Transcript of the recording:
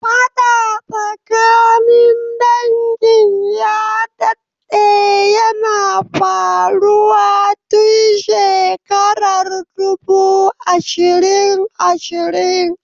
Faɗa tsakanin dangin ya dadde yana faruwa tun shekarar dubu ishirin ishirin.